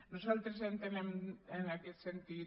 nosaltres entenem en aquest sentit